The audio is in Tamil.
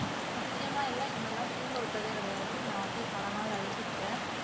சத்தியமா இல்லை எங்களலாம் தூங்க விட்டதே கிடையாது நான் வந்து பல நாள் அழுதுருக்கேன்